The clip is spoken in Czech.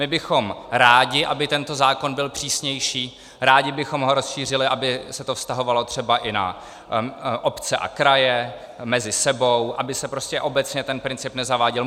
My bychom rádi, aby tento zákon byl přísnější, rádi bychom ho rozšířili, aby se to vztahovalo třeba i na obce a kraje mezi sebou, aby se prostě obecně ten princip nezaváděl.